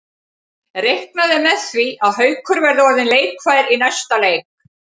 Reiknað er með því að Haukur verði orðinn leikfær í næsta leik.